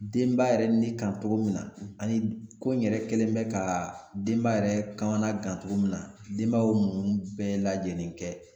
Denba yɛrɛ ni kan togo min na, ani ko n yɛrɛ kɛlen bɛ ka denba yɛrɛ kamanagan togo min na, denba y'o muɲun bɛɛ lajɛlen kɛ.